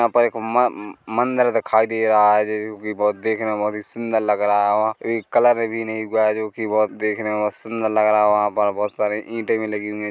यहाँ पर एक मम्म मंदिर दिखाई दे रहा है जो कि बहुत देखने में बहुत ही सुंदर लग रहा वहाँ कलर भी नही हुआ है जो कि बहुत देखने में सुंदर लग रहा है वहाँ पर बहुत सारी ईटे भी लगी हुई है।